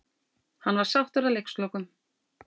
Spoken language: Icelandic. Hann var sáttur að leikslokum.